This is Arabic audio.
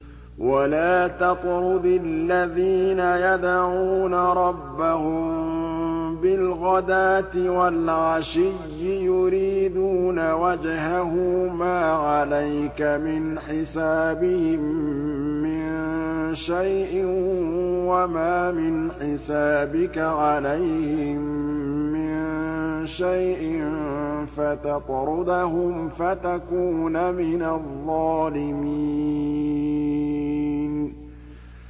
وَلَا تَطْرُدِ الَّذِينَ يَدْعُونَ رَبَّهُم بِالْغَدَاةِ وَالْعَشِيِّ يُرِيدُونَ وَجْهَهُ ۖ مَا عَلَيْكَ مِنْ حِسَابِهِم مِّن شَيْءٍ وَمَا مِنْ حِسَابِكَ عَلَيْهِم مِّن شَيْءٍ فَتَطْرُدَهُمْ فَتَكُونَ مِنَ الظَّالِمِينَ